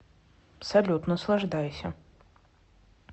салют наслаждайся